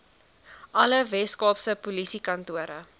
alle weskaapse polisiekantore